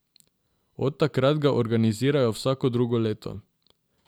Od takrat ga organizirajo vsako drugo leto.